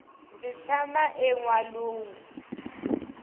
ndzi tshama enwalungu